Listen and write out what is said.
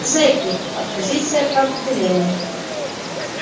зэки оппозиция по определению